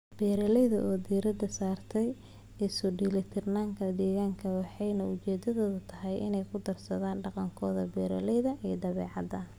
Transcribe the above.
Beeralayda oo diiradda saaraya isu-dheellitirka deegaanka waxay ujeeddadoodu tahay inay ku daraan dhaqankooda beeralayda iyo dabeecadda.